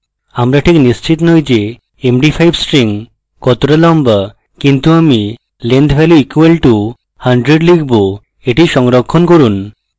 আমি ঠিক নিশ্চিত নই যে md5 string কতটা লম্বা কিন্তু আমি length value = 100 লিখব এটি সংরক্ষণ করুন